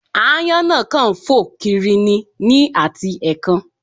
Aáyán náà kàn ń fò kiri ni ní àti ẹ̀ẹ̀kan